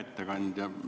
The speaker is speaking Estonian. Hea ettekandja!